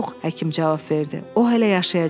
Yox, həkim cavab verdi, o hələ yaşayacaq.